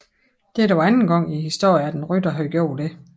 Dette var anden gang i historien at en rytter havde gjort det